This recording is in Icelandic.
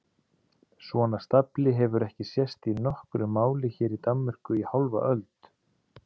Svona stafli hefur ekki sést í nokkru máli hér í Danmörku í hálfa öld!